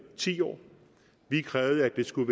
ti år vi krævede at de skulle